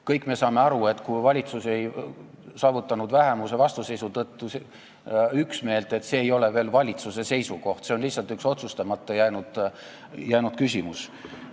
Kõik me saame aru, et kui valitsus ei saavutanud vähemuse vastuseisu tõttu üksmeelt, siis see ei ole veel valitsuse seisukoht, see on lihtsalt üks otsustamata jäänud küsimus.